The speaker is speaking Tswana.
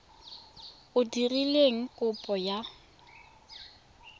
o dirileng kopo ka lona